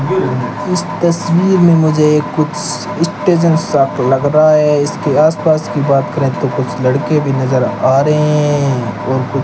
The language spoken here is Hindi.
इस तस्वीर में मुझे एक कुछ स्टेशन सा लग रहा है इसके आसपास की बात करें तो कुछ लड़के भी नजर आ रहे हैं और कुछ--